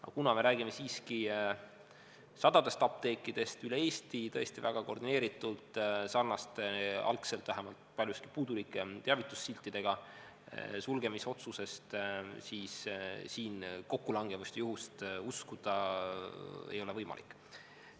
Aga kuna me räägime siiski sadadest apteekidest üle Eesti, see oli tõesti väga koordineeritud, sarnaste, algselt vähemalt paljuski puudulike teavitussiltidega sulgemisotsuse kohta, siis siin kokkulangevust ja juhust uskuda ei ole võimalik.